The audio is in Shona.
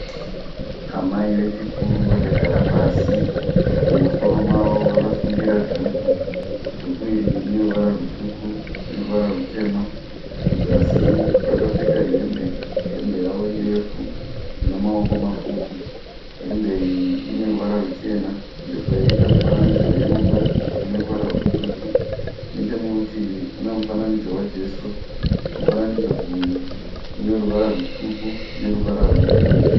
Amai vechikuru vakagara pasi mumusoro mavo vakasungira dhuku, dhuku iri rine ruvara rutsvuku neruvara rutema kuzasi vakapfeka hembe, hembe yavo irefu ina maoko mapfupi, hembe iyi ine ruvara ruchena yobva yaita mifananidzo yerudo une ruvara rutsvuku nechemurutivi mune mufananidzo wa Jesu mufananidzo uyu une ruvara rutsvuku neruvara rwebhuruu.